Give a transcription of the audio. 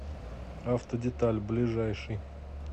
автодеталь ближайший